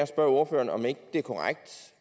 spørge ordføreren om ikke det er korrekt hvis